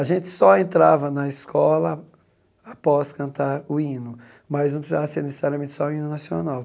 A gente só entrava na escola após cantar o hino, mas não precisava ser necessariamente só o hino nacional.